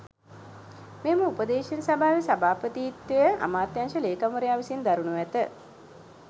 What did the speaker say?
මෙම උපදේශන සභාවේ සභාපතිත්වය අමාත්‍යාංශ ‍ලේකම්වරයා විසින් දරනු ඇත.